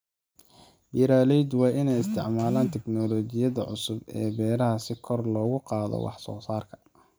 Beeraleydu waa inay isticmaalaan tiknoolajiyadda cusub ee beeraha si kor loogu qaado wax soo saarka.